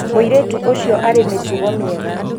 mũirĩtu ũcio arĩ mĩtugo mĩega